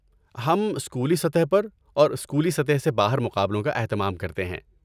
ہم اسکولی سطح پر اور اسکولی سطح سے باہر مقابلوں کا اہتمام کرتے ہیں۔